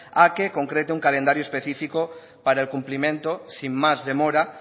a que concrete un calendario específico para el cumplimiento sin más demora